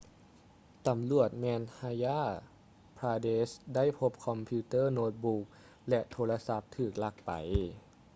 ຕຳຫຼວດ madhya pradesh ໄດ້ພົບຄອມພິວເຕີ້ໂນ້ດບຸກ ແລະ ໂທລະສັບທີ່ຖືກລັກໄປ